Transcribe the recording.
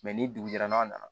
ni dugu jɛra n'a na na